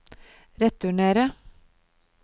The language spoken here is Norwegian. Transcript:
returnerer